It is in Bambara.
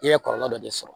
I ye kɔlɔlɔ dɔ de sɔrɔ